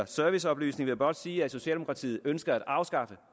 serviceoplysning vil jeg blot sige at socialdemokratiet ønsker at afskaffe